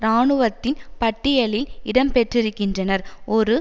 இராணுவத்தின் பட்டியலில் இடம்பெற்றிருக்கின்றனர் ஒரு